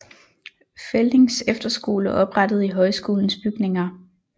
Feldings Efterskole oprettet i højskolens bygninger